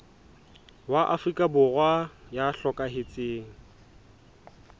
wa afrika borwa ya hlokahetseng